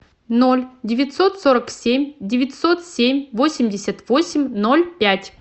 ноль девятьсот сорок семь девятьсот семь восемьдесят восемь ноль пять